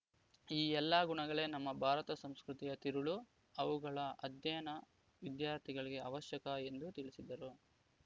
ಈ ಎಲ್ಲಾ ಗುಣಗಳೇ ನಮ್ಮ ಭಾರತ ಸಂಸ್ಕೃತಿಯ ತಿರುಳು ಅವುಗಳ ಅಧ್ಯಯನ ವಿದ್ಯಾರ್ಥಿಗಳಿಗೆ ಅವಶ್ಯಕ ಎಂದು ತಿಳಿಸಿದರು